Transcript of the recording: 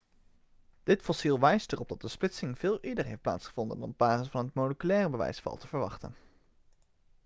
dit fossiel wijst erop dat de splitsing veel eerder heeft plaatsgevonden dan op basis van het moleculaire bewijs valt te verwachten